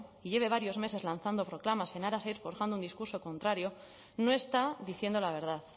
y lleve varios meses lanzando proclamas en aras a ir forjando un discurso contrario no está diciendo la verdad